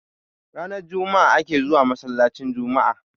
ranar Juma'a ake zuwa masallacin Juma'a